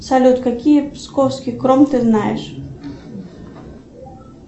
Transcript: салют какие псковский кром ты знаешь